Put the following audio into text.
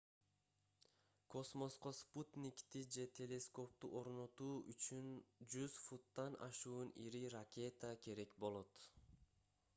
космоско спутникти же телескопту орнотуу үчүн 100 футтан ашуун ири ракета керек болот